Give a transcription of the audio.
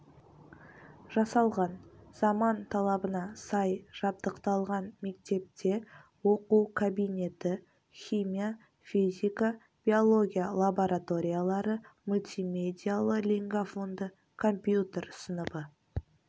жасалған заман талабына сай жабдықталған мектепте оқу кабинеті химия физика биология лабораториялары мультимедиялы-лингафонды компьютер сыныбы